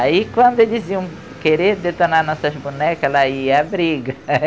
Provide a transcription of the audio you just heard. Aí, quando eles iam querer detonar nossas bonecas, ela ia a briga.